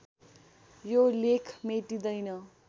यो लेख मेटिँदैन